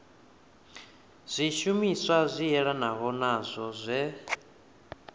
zwishumiswa zwi yelanaho nazwo zwe